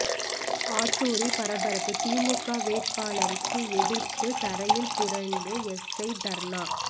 ஆத்தூரில் பரபரப்பு திமுக வேட்பாளருக்கு எதிர்ப்பு தரையில் புரண்டு எஸ்ஐ தர்ணா